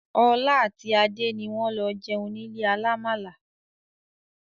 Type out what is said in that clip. Ọlá àti Adé ni wọn lọ jẹun nílé alàmàalà